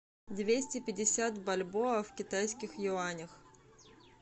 двести пятьдесят бальбоа в китайских юанях